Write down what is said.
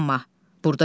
Burda Zülfüqar.